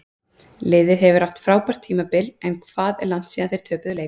Liðið hefur átt frábært tímabil en hvað er langt síðan þeir töpuðu leik?